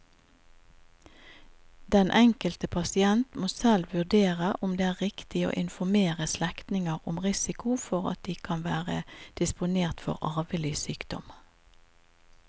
Den enkelte pasient må selv vurdere om det er riktig å informere slektninger om risiko for at de kan være disponert for arvelig sykdom.